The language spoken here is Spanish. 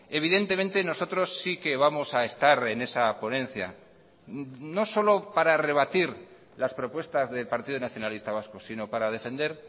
evidentemente nosotros sí que vamos a estar en esa ponencia no solo para rebatir las propuestas del partido nacionalista vasco sino para defender